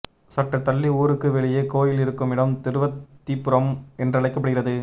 சற்று தள்ளி ஊருக்கு வெளியே கோயில் இருக்குமிடம் திருவத்திபுரம் என்றழைக்கப்படுகிறது